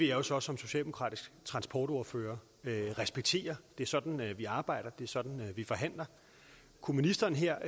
jo så som socialdemokratisk transportordfører respektere det er sådan vi arbejder det er sådan vi forhandler kunne ministeren her